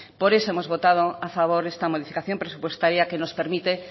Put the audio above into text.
por eso hemos votado a favor esta modificación presupuestaria que nos permite